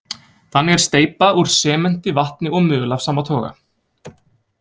Þannig er steypa úr sementi, vatni og möl af sama toga.